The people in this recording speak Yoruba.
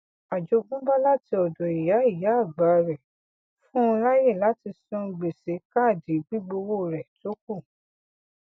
àjogúnbá láti ọdọ ìyá ìyá àgbà rẹ fún un láyè láti san gbèsè káàdì gbígbówó rẹ tó kù